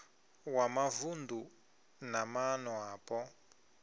wa mavunu na maana apo